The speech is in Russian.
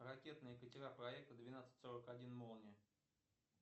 ракетные катера проекта двенадцать сорок один молния